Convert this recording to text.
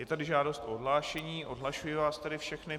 Je tady žádost o odhlášení, odhlašuji vás tedy všechny.